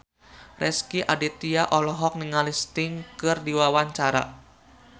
Rezky Aditya olohok ningali Sting keur diwawancara